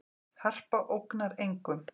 Harpa ógnar engum